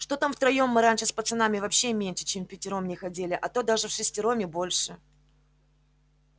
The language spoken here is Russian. что там втроём мы раньше с пацанами вообще меньше чем впятером не ходили а то даже вшестером и больше